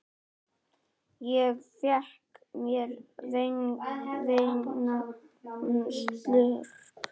Ég fékk mér vænan slurk.